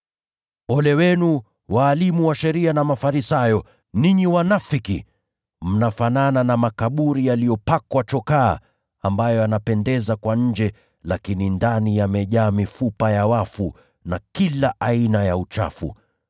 “Ole wenu, walimu wa sheria na Mafarisayo, ninyi wanafiki! Mnafanana na makaburi yaliyopakwa chokaa, ambayo yanapendeza kwa nje, lakini ndani yamejaa mifupa ya wafu na kila aina ya uchafu.